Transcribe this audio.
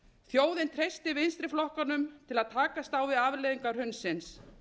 þjóðin treystir vinstri flokkunum til að takast á við afleiðingar hrunsins